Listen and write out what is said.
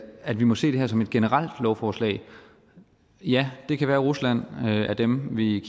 at vi må se det her som et generelt lovforslag ja det kan være at rusland er dem vi